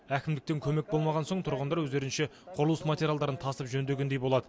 әкімдіктен көмек болмаған соң тұрғындар өздерінше құрылыс материалдарын тасып жөндегендей болады